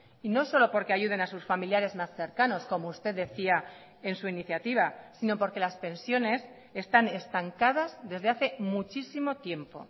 y no solo porque ayuden a sus familiares más cercanos como usted decía en su iniciativa sino porque las pensiones están estancadas desde hace muchísimo tiempo